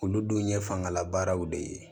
Olu dun ye fangalabaaraw de ye